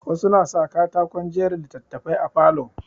Wasu na sa katakon jera littattafai a falo.